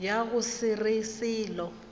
ya go se re selo